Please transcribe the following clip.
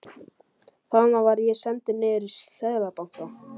Þaðan var ég sendur niður í Seðlabanka.